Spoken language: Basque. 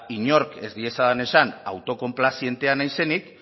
inork ez diezadan esan autokonplazientea naizenik